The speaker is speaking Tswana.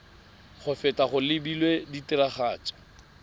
go feta go lebilwe tiragatso